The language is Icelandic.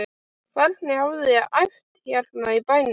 Hvernig hafiði æft hérna í bænum?